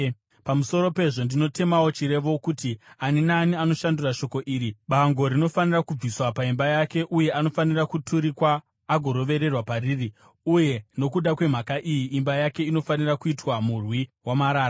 Pamusoro pezvo, ndinotemawo chirevo, kuti ani naani anoshandura shoko iri, bango rinofanira kubviswa paimba yake, uye anofanira kuturikwa agorovererwa pariri. Uye nokuda kwemhaka iyi, imba yake inofanira kuitwa murwi wamarara.